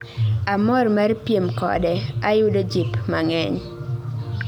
Amor mar piem kode, ayudo jip mang'eny